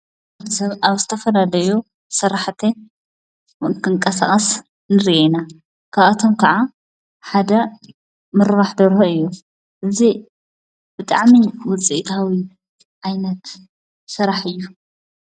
ሰብ ኣብ ስተፈናለዩ ሠራሕተ ምንክንቀሳቐስ ንርየና ካኣቶም ከዓ ሓደ ምርባሕደርሁ እዩ እዙ ብጥዓሚ ውፅኢታዊ ዓይነት ሠራሕ እዩ።